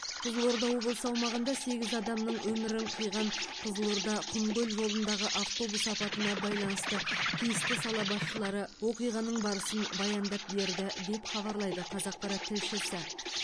қызылорда облысы аумағында сегіз адамның өмірін қиған қызылорда құмкөл жолындағы автобус апатына байланысты тиісті сала басшылары оқиғаның барысын баяндап берді деп хабарлайды қазақпарат тілшісі